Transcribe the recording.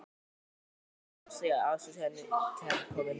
Öllu heldur má segja að aðstoð sé henni kærkomin.